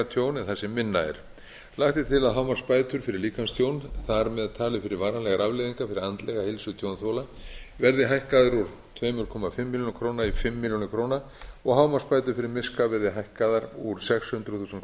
það sem minna er lagt er til að hámarksbætur fyrir líkamstjón þar með talið fyrir varanlegar afleiðingar fyrir andlega heilsu tjónþola verði hækkaðar úr tveimur og hálfa milljón króna í fimm milljónir króna og hámarksbætur fyrir miska verði hækkaðar úr sex hundruð þúsund